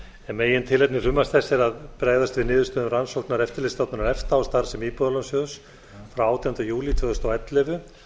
megintilefni frumvarps þessa er að bregðast við niðurstöðum rannsóknar eftirlitsstofnunar efta og starfsemi íbúðalánasjóðs frá átjándu júlí tvö þúsund og ellefu